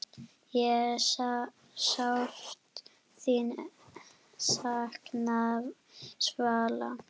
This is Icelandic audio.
Ég sárt þín sakna, Svala.